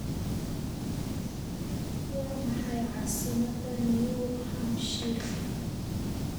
Waa maxay caasimadda New Hampshire?